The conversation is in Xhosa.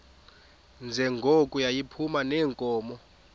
njengoko yayiphuma neenkomo